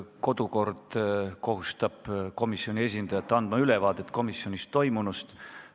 Kodukord kohustab komisjoni esindajat andma ülevaadet komisjonis toimunust.